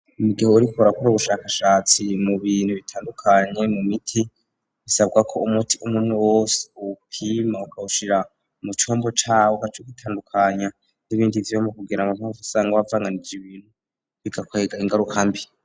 Mugihe uriko urakora ubushakashatsi mu bintu bitandukanye mu miti bisabwa ko umuti umuntu wose ubupima ukahushira mu combo cawo ugaca uwutandukanya n'ibindi vyuma kugira ntuze guca asanga wavanganije ibintu bigakwega ingarukambi.